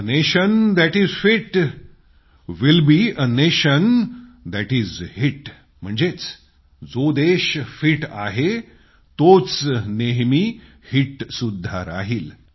A nation that is fit will be a nation is hit म्हणजेच जो देश fit आहे तोच नेहमी हिट होणार